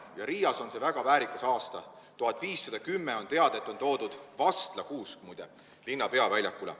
Ja Riias on see väga väärikas aasta: on teada, et aastal 1510 on toodud vastlakuusk, muide, linna peaväljakule.